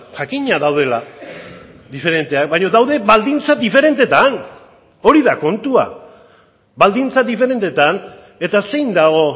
jakina daudela diferenteak baino daude baldintza diferenteetan hori da kontua baldintza diferenteetan eta zein dago